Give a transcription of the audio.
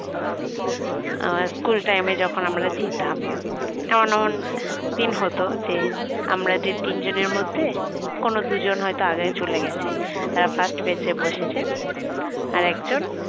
আমরা school time এ যখন আমরা যেতাম এমন এমন দিন হতো যে আমরা যে তিনজনের মধ্যে কোন দুজন হয়তো আগে চলে গেছে তারা first bench এ বসেছে আর একজন